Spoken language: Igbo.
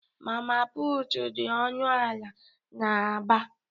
Mama putụ̀ dị ọnụ ala n'Aba.